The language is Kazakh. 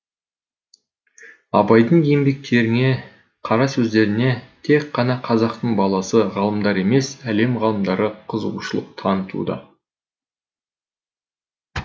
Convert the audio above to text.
абайдың еңбектеріне қара сөздеріне тек қана қазақтың баласы ғалымдары емес әлем ғалымдары қызығушылық танытуда